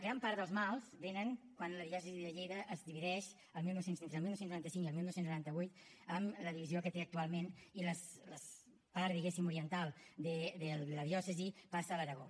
gran part dels mals vénen de quan la diòcesi de lleida es divideix entre el dinou noranta cinc i el dinou noranta vuit en la divisió que té actualment i la part diguéssim oriental de la diòcesi passa a l’aragó